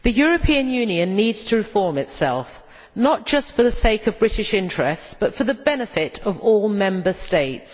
Mr President, the European Union needs to reform itself, not just for the sake of British interests, but for the benefit of all Member States.